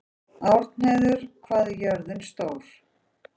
Árnheiður, hvað er jörðin stór?